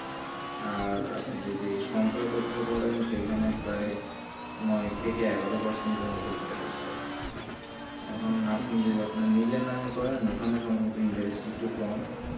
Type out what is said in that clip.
আর আপনি যদি সঞ্চয় পত্র করেন সেই খানে প্রায় নয় থেকে এগারো percent এর মতো interest দেয় এখন যদি আপনি নিজের নাম করেন ওখানে সম্ভবত interest টা কম